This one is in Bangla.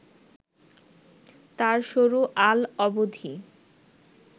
তার সরু আল অবধি